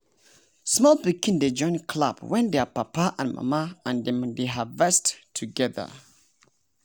small pikin dey join clap wen their papa and mama and dem dey harvest together.